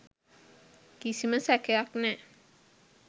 කිසිම සැකයක් නෑ.